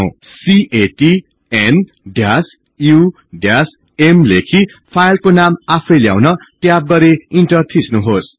CAT n u म् लेखि फाईलको नाम आफै ल्याउन ट्याब गरि ईन्टर थिच्नुहोस